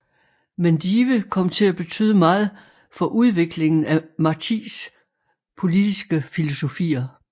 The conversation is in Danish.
Mendive kom til at betyde meget for udviklingen af Martís politiske filosofier